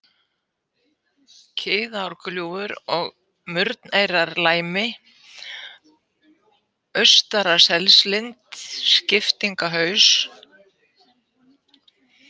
Kiðárgljúfur, Murneyrarlæmi, Austaraselslind, Skiptingahaus